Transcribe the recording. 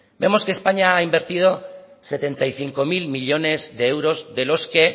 vemos que españa ha invertido setenta y cinco mil millónes de euros de los que